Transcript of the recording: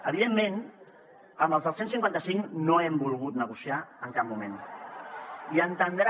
evidentment amb els del cent i cinquanta cinc no hem volgut negociar en cap moment i ha d’entendre